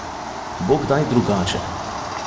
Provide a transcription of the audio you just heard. Bo kdaj drugače?